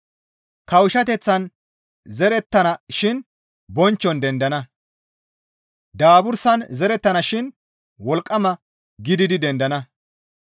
Kawushshateththan zerettana shin bonchchon dendana; daabursan zerettana shin wolqqama gididi dendana.